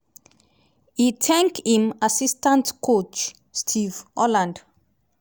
e tank im assistant coack steve holland